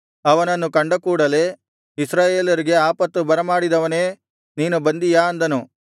ಅವನನ್ನು ಕಂಡಕೂಡಲೆ ಇಸ್ರಾಯೇಲರಿಗೆ ಆಪತ್ತನ್ನು ಬರಮಾಡಿದವನೇ ನೀನು ಬಂದಿಯಾ ಅಂದನು